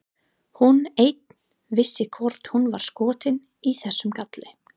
Hún ein vissi hvort hún var skotin í þessum kalli.